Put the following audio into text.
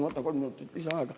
Ma võtan kolm minutit lisaaega.